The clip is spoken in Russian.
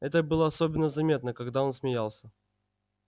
это было особенно заметно когда он смеялся